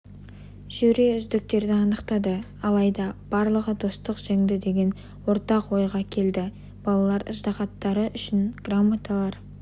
жюри үздіктерді анықтады алайда барлығы достық жеңді деген ортақ ойға келді балалар ыждаһаттары үшін грамоталар